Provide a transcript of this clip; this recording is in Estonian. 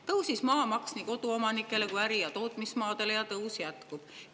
Tõusis maamaks nii koduomanikel kui ka äri‑ ja tootmismaade puhul, ja tõus jätkub.